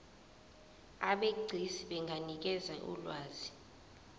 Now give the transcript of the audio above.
abegcis benganikeza ulwazi